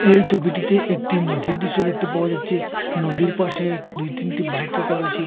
এই ছবিটিতে একটি নদীর দৃশ্য দেখতে পাওয়া যাচ্ছে নদীর পাশে দুই তিনটি বাইক রাখা হয়েছে।